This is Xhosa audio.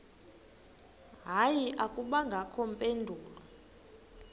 hayi akubangakho mpendulo